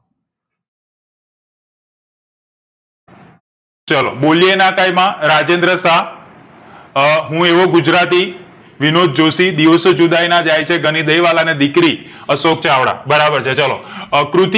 ચાલો બોલેએ ના કઈ માં રાજેન્દ્ર શાહ અ હું એવો ગુજરાતી વિનોદ જોશી દિવસો જુદાઈએ ના જાય છે ગનીદય વાળા ને અને દીકરી અશોક ચાવડા બરાબર છે ચાલો અ કૃતિ